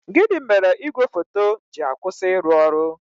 Gịnị mere igwe foto ji akwụsị ịrụ ọrụ?